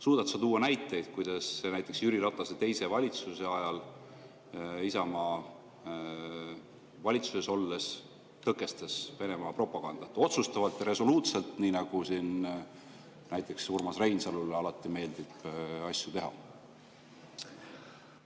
Suudad sa tuua näiteid, kuidas näiteks Jüri Ratase teise valitsuse ajal Isamaa valitsuses olles tõkestas Venemaa propagandat otsustavalt ja resoluutselt, nii nagu siin näiteks Urmas Reinsalule alati meeldib asju teha?